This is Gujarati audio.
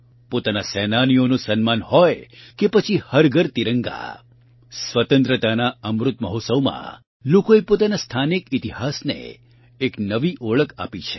પોતાના સેનાનીઓનું સન્માન હોય કે પછી હર ઘર તિરંગા સ્વતંત્રતાના અમૃત મહોત્સવમાં લોકોએ પોતાના સ્થાનિક ઇતિહાસને એક નવી ઓળખ આપી છે